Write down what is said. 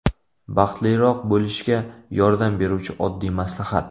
Baxtliroq bo‘lishga yordam beruvchi oddiy maslahat.